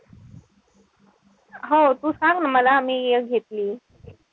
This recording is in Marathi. हो तू सांग ना मला मी घेतलीय.